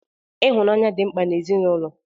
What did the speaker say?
Ịhụnanya dị mkpa n'ezinụlọ.